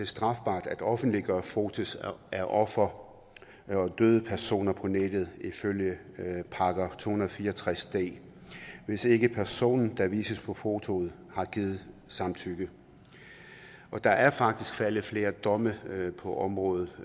strafbart at offentliggøre fotos af ofre og døde personer på nettet ifølge § to hundrede og fire og tres d hvis ikke personen der vises på fotoet har givet samtykke og der er faktisk faldet flere domme på området